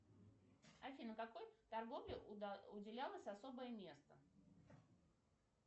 афина какой торговле уделялось особое место